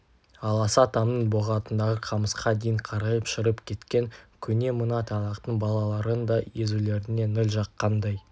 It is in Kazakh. аласа тамның боғатындағы қамысқа дейін қарайып шіріп кеткен көне мына тайлақтың балаларының да езулеріне ніл жаққандай